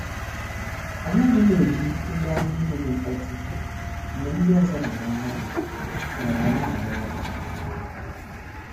Anaghim eji ngwa ihe na- eme mkpọtụ mgbe ndị ọzọ na-arahu ura maọbụ na-aru ọrụ.